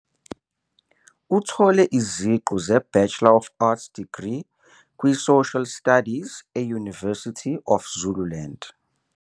Uthole iziqu zeBachelor of Arts Degree kwiSocial Studies e-University of Zululand.